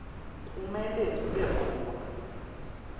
kumele kube khona